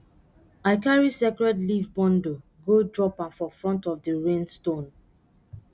i carry sacred leaf bundle go drop am for front of the rain stone